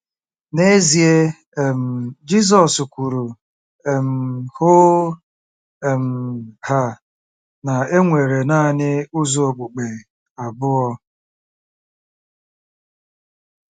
N'ezie, um Jizọs kwuru um hoo um haa na e nwere nanị ụzọ okpukpe abụọ.